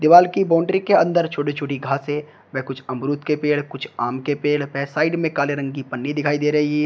Wall की boundary के अंदर छोटी छोटी घास है कुछ अमरूद के पेड़ कुछ आम के पेड़ पर साइड में काले रंग की पन्नी दिखाई दे रही है।